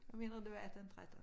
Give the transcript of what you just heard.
Jeg mener det var 18 13